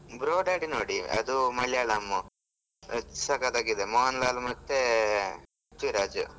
Bro Daddy ನೋಡಿ ಅದು ಮಾಲಿಯಾಳಂ ಸಕತ್ತಾಗಿ ಇದೆ ಮೋಹನ್ ಲಾಲ್ ಮತ್ತೆ ಪ್ರಥ್ವಿರಾಜ್.